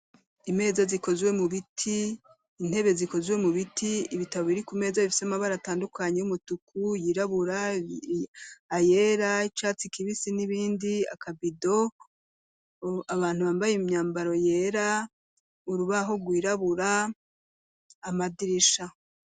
Imeza zikozwe mu biti, intebe zikozwe mu biti, ibitabo biri ku meza bifise amabara atandukanye y'umutuku ,yirabura ,ayera ,ay'icatsi kibisi n'ibindi akabido abantu bambaye imyambaro yera ,urubaho rwirabura, amadirisha.